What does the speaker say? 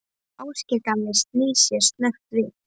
Og Ásgeir gamli snýr sér snöggt við.